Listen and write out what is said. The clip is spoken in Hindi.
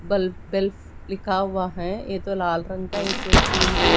बल्ब वेल्फ लिखा हुआ है एक लाल रंग का एक फूल भी--